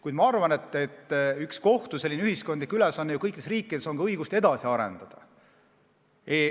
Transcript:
Kuid ma arvan, et üks kohtu ühiskondlikke ülesandeid kõikides riikides on ka õigust edasi arendada.